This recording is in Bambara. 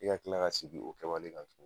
E ka kila ka sigi o kamalen ka so.